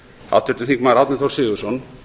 háttvirtur þingmaður árni þór sigurðsson